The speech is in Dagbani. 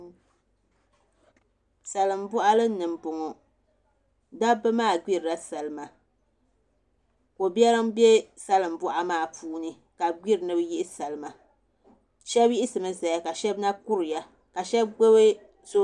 Salin boɣali ni n boŋo dabba maa gbirila salma ko biɛri n bɛ salin boɣali maa puuni ka bi gbiri ni bi yihi salma shab yiɣisimi ʒɛya ka shab na kuriya ka shab gbubi soobuli